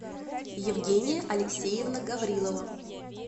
евгения алексеевна гаврилова